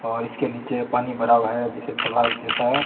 और इसके निचे पानी भरा हुआ है जैसे तालाब जैसा --